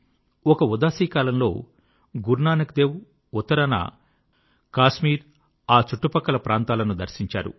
ఒక ఉదాసీ కాలంలో గురునానక్ దేవ్ ఉత్తరాన కాశ్మీర్ ఆ చుట్టు ప్రక్కల ప్రాంతాలను దర్శించారు